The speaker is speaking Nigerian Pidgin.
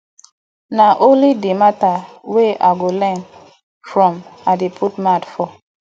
na only di mata wey i go learn from i dey put mouth for